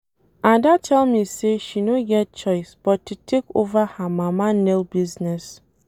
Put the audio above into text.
Ada tell me say she no get choice but to take over her mama nail business